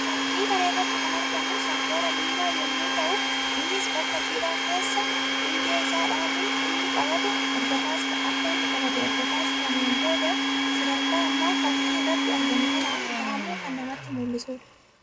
Fakkii kana irratti kan argamu shonkoora diimaa yammuu ta'u; innis bakka jiidhaa keessa hundee isaa dhaabuun akka inni qabatu erga taasifameetiin booda sadarkaa amma fakki irratti argamu kanaan gahamuu kan namatti mul'isuu dha.